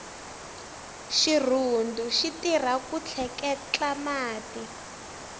xirhundu xitirha ku tleketla mati